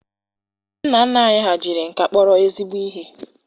Ndị nna nna anyị ha jiri nka kpọrọ ezigbo ihe.